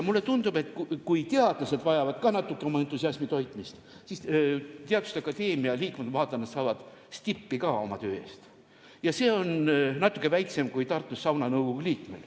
Mulle tundub, et kui teadlased vajavad ka natuke entusiasmi toitmist, siis teaduste akadeemia liikmed saavad oma töö eest stippi ja see on natuke väiksem kui Tartus sauna nõukogu liikmel.